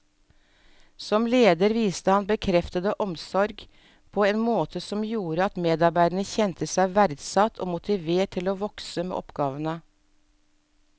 Som leder viste han bekreftende omsorg på en måte som gjorde at medarbeiderne kjente seg verdsatt og motivert til å vokse med oppgavene.